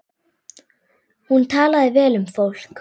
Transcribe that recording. Hún talaði vel um fólk.